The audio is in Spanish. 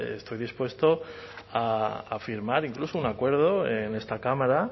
estoy dispuesto a firmar incluso un acuerdo en esta cámara